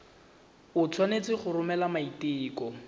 o tshwanetse go romela maiteko